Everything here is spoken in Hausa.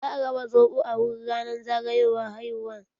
Za a raba soɓo a wurin ranar zagayowar haihuwar.